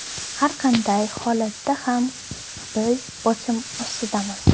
Har qanday holatda ham, biz bosim ostidamiz.